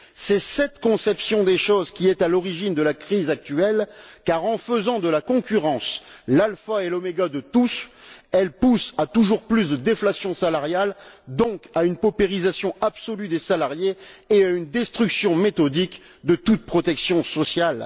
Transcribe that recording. C'est cette conception des choses qui est à l'origine de la crise actuelle car, en faisant de la concurrence l'alpha et l'oméga de tous, elle pousse à toujours plus de déflation salariale, donc à une paupérisation absolue des salariés et à une destruction méthodique de toute protection sociale.